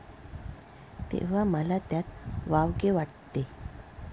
तेव्हा मला त्यात वावगे वाटते.